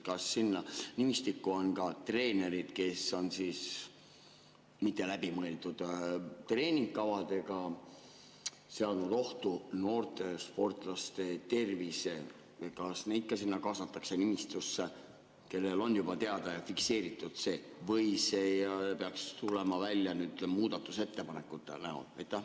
Kas ka treenerid, kes on mitteläbimõeldud treeningkavadega seadnud ohtu noorte sportlaste tervise, kaasatakse sinna nimistusse, kes on juba teada ja fikseeritud, või see peaks tulema välja muudatusettepanekute näol?